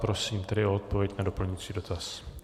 Prosím tedy o odpověď na doplňující dotaz.